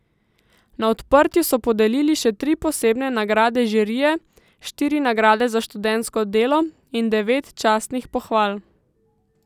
Na odprtju so podelili še tri posebne nagrade žirije, štiri nagrade za študentsko delo in devet častnih pohval.